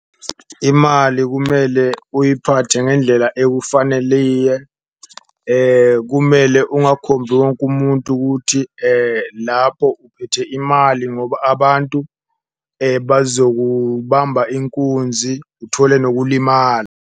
Imali kumele uyiphathe ngendlela ekufaneliye, kumele ungakhombi wonke umuntu ukuthi lapho uphethe imali, ngoba abantu bazokubamba inkunzi uthole nokulimala.